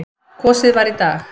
Kosið var í dag.